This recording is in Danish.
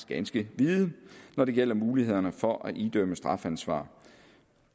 ganske vide når det gælder mulighederne for at idømme strafansvar